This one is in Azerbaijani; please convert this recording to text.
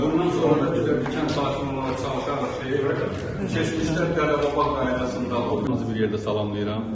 Və bundan sonra da biz də bir kənd sakini olaraq çalışarıq ki, keçmişdən tələb olan qaydasında sizi bir yerdə salamlayıram.